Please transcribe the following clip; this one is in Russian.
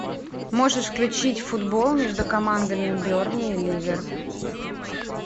можешь включить футбол между командами бернли и ливер